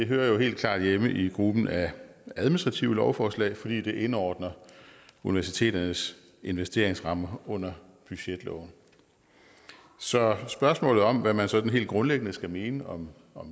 hører helt klart hjemme i gruppen af administrative lovforslag fordi det indordner universiteternes investeringsramme under budgetloven så spørgsmålet om hvad man sådan helt grundlæggende skal mene om